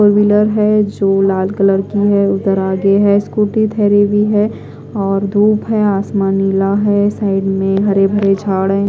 Four wheeler है जो लाल कलर की है उधर आगे है स्कूटी ढहरी हुई है और धुप है आसमान नीला है साइड में हरे भरे झाड़ है।